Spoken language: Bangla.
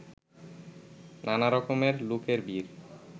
নানা রকমের লোকের ভিড়